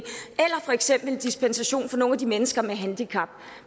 for eksempel en dispensation for nogle af de mennesker med handicap